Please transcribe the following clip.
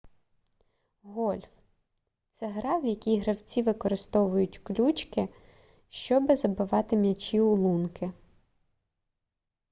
гольф це гра в якій гравці використовують ключки щоби забивати м'ячі у лунки